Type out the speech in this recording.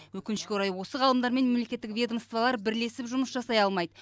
өкінішке орай осы ғалымдар мен мемлекеттік ведомстволар бірлесіп жұмыс жасай алмайды